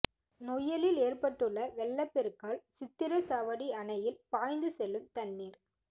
நொய்யலில் ஏற்பட்டுள்ள வெள்ளப் பெருக்கால் சித்திரைச்சாவடி அணையில் பாய்ந்து செல்லும் தண்ணீா்